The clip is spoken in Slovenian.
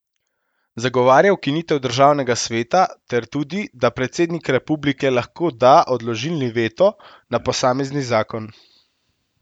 Zagovarja ukinitev državnega sveta ter tudi, da predsednik republike lahko da odložilni veto na posamezni zakon.